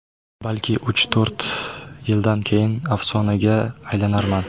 Balki, uch-to‘rt yildan keyin afsonaga aylanarman.